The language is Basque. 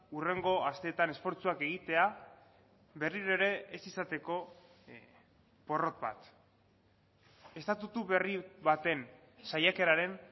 hurrengo asteetan esfortzuak egitea berriro ere ez izateko porrot bat estatutu berri baten saiakeraren